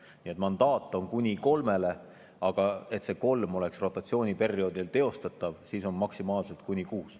Nii et mandaat on kuni kolmele, aga et kolm oleks rotatsiooniperioodil teostatav, siis on maksimaalselt kuuele.